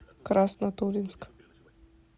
краснотурьинск